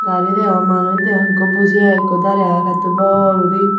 gari degong manuj degong ekku buji agey ekku darey agey pettu bor guri.